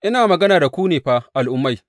Ina magana da ku ne fa Al’ummai.